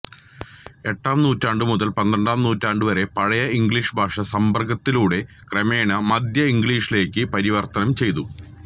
എട്ടാം നൂറ്റാണ്ട് മുതൽ പന്ത്രണ്ടാം നൂറ്റാണ്ട് വരെ പഴയ ഇംഗ്ലീഷ് ഭാഷാ സമ്പർക്കത്തിലൂടെ ക്രമേണ മദ്ധ്യ ഇംഗ്ലീഷിലേക്ക് പരിവർത്തനം ചെയ്തു